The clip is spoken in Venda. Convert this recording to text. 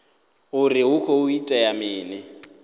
uri hu khou itea mini